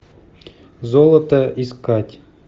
золото искать